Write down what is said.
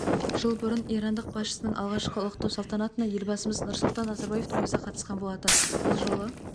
жыл бұрын ирандық басшының алғашқы ұлықтау салтанатына елбасымыз нұрсұлтан назарбаевтың өзі қатысқан болатын бұл жолы